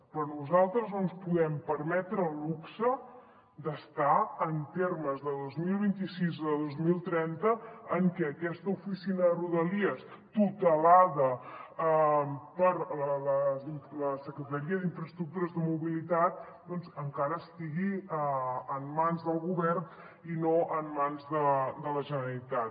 per nosaltres no ens podem permetre el luxe d’estar en termes de dos mil vint sis a dos mil trenta en què aquesta oficina de rodalies tutelada per la secretaria d’infraestructures de mobilitat doncs encara estigui en mans del govern i no en mans de la generalitat